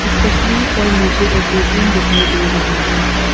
इस तस्वीर पर मुझे एक ए_टी_एम दिखाई दे रही है।